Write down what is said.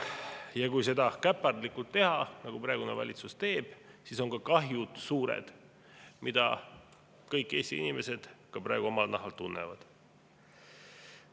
Ja kui seda käpardlikult teha, nagu praegune valitsus teeb, siis on kahju suur, mida kõik Eesti inimesed praegu ka omal nahal tunnevad.